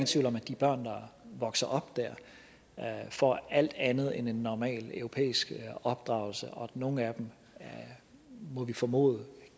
tvivl om at de børn der vokser op der får alt andet end en normal europæisk opdragelse og at nogle af dem må vi formode